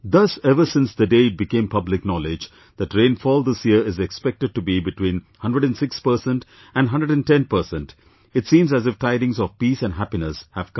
Thus ever since the day it became public knowledge that rainfall this year is expected to be between 106% and 110% it seems as if tidings of peace and happiness have come